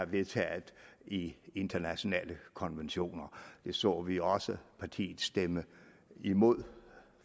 vedtaget i internationale konventioner det så vi også partiet stemme imod